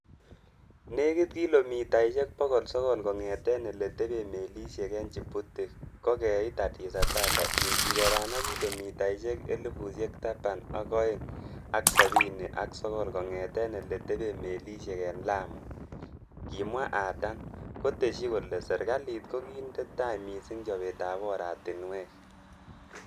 "Nekit kilomitaisiek bogol sogol kongeten ele teben melisiek en Djibouti ko keit Addis Ababa ingigeran ak kilomitaisiek elfusiek taban ak o'eng ak sabini ak sogol kongeten ele teben melisiek en Lamu,"Kimwa Adan, kotesyi kole serkalit ko kinde tai missing chobetab oratinwek.